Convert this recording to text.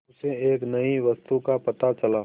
उसे एक नई वस्तु का पता चला